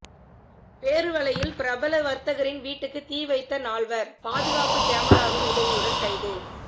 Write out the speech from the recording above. பேருவளையில் பிரபல வர்த்தகரின் வீட்டுக்கு தீ வைத்த நால்வர் பாதுகாப்பு கமராவின் உதவியுடன் கைது